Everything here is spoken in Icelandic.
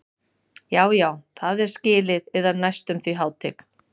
Já, já það er skilið yðar næstum því hátign.